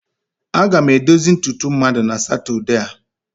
Aga m edozi ntutu mmadụ na Satọde a.